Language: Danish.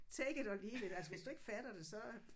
Take it or leave it altså hvis du ikke fatter det så